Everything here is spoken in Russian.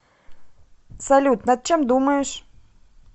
салют над чем думаешь